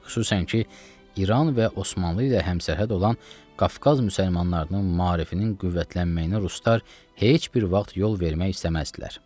Xüsusən ki, İran və Osmanlı ilə həmsərhəd olan Qafqaz müsəlmanlarının maarifinin qüvvətlənməyinə ruslar heç bir vaxt yol vermək istəməzdilər.